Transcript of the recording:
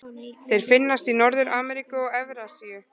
Þeir finnast í Norður-Ameríku og Evrasíu.